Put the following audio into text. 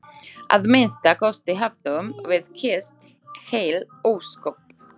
Að minnsta kosti höfðum við kysst heil ósköp.